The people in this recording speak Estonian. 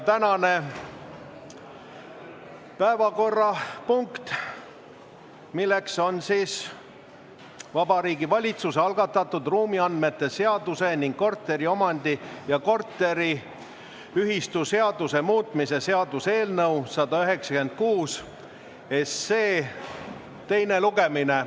Tänane päevakorrapunkt on Vabariigi Valitsuse algatatud ruumiandmete seaduse ning korteriomandi- ja korteriühistuseaduse muutmise seaduse eelnõu 196 teine lugemine.